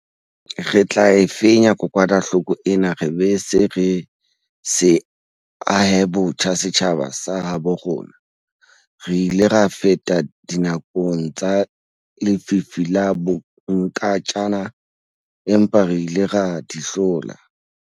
Re tla e fenya kokwanahloko ena re be re se ahe botjha setjhaba sa habo rona. Re ile ra feta dinakong tsa lefifi la bonkantjana empa re ile ra di hlola.